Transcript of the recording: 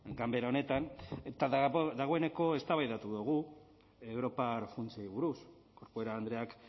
ganbera honetan eta dagoeneko eztabaidatu dugu europar funtsei buruz corcuera andreak